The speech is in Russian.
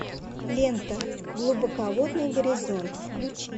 лента глубоководный горизонт включи